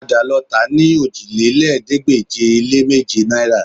Padà lọ tà á ní òjìlélẹ́ẹ̀ẹ́dégbèje-lé-méjì náìrà